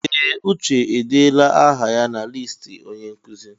Ee! Uche edeela aha ya na listi onye nkụzi.